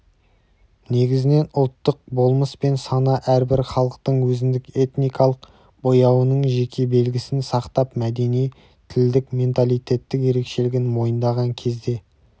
негізінен ұлттық болмыс пен сана әрбір халықтың өзіндік этникалық бояуының жеке белгісін сақтап мәдени тілдік менталитеттік ерекшелігін мойындаған кезде